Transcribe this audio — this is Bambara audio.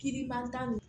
Kiiri ban tan de